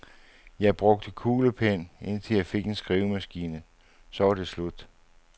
Jeg brugte kuglepen, indtil jeg fik en skrivemaskine, så var det slut.